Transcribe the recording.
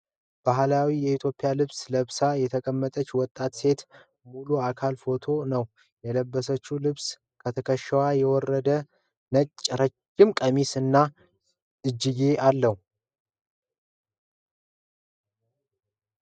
ባህላዊ የኢትዮጵያ ልብስ ለብሳ የተቀመጠች ወጣት ሴት ሙሉ አካል ፎቶ ነው። የለበሰችው ልብስ ከትከሻዋ የወረደ ነጭ ረዥም ቀሚስ እና እጅጌ አለው።